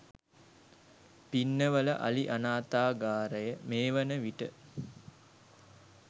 පින්නවල අලි අනාථාගාරය මේ වන විට